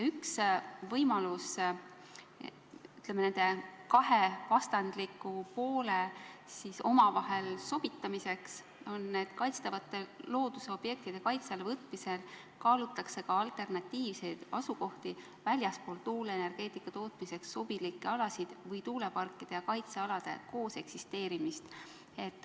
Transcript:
Üks võimalusi nende kahe vastandliku poole omavahel sobitamiseks on see, et kaitstavate loodusobjektide kaitse alla võtmisel kaalutakse ka alternatiivseid asukohti väljaspool tuuleenergeetika tootmiseks sobilikke alasid või tuuleparkide ja kaitsealade kooseksisteerimist.